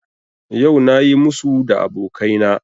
Yau na yi musu da abokaina